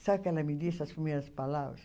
Sabe o que ela me disse, as primeiras palavras?